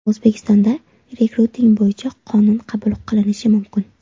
O‘zbekistonda rekruting bo‘yicha qonun qabul qilinishi mumkin.